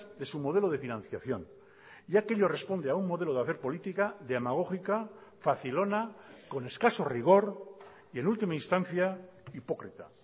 de su modelo de financiación ya que ello responde a un modelo de hacer política demagógica facilona con escaso rigor y en última instancia hipócrita